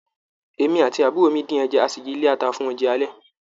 Èmi àti àbúrò mi din ẹja, a sì yìí lata fún oúnjẹ alẹ́.